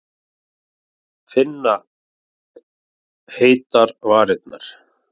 Finna heitar varirnar.